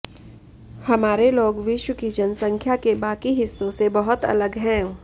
हमारे लोग विश्व की जनसंख्या के बाकी हिस्सों से बहुत अलग हैं